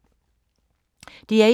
DR1